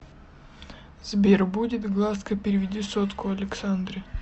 сбер будет глазка переведи сотку александре